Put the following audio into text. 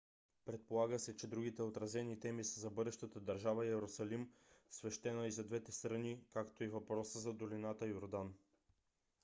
предполага се че другите отразени теми са за бъдещата държава йерусалим свещена и за двете страни както и въпроса за долината йордан